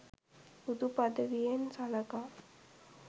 බුදු පදවියෙන් සලකා